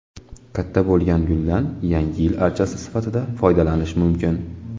Katta bo‘lgan guldan Yangi yil archasi sifatida foydalanish mumkin.